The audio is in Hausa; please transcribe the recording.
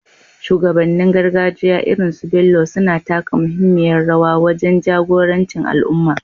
Shugabannin gargajiya irin su Bello suna taka muhimmiyar rawa wajen jagoranci al’umma,